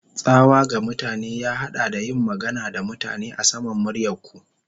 Tsawa ga mutane ya haɗa da yin magana da mutane a saman muryar ku.